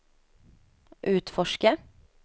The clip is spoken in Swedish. utforska